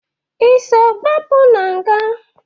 Ị so gbapụ na nga?